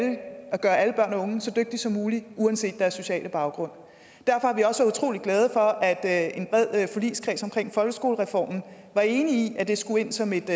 gøre alle børn og unge så dygtige som muligt uanset deres sociale baggrund derfor har vi også været utrolig glade for at en bred forligskreds omkring folkeskolereformen var enige om at det skulle ind som et